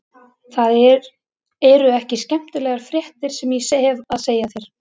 Það eru ekki skemmtilegar fréttir sem ég hefi að segja þér.